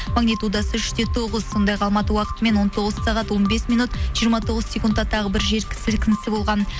магнитудасы үш те тоғыз сондай ақ алматы уақытымен он тоғыз сағат он бес минут жиырма тоғыз секундта тағы бір жер сілкінісі болған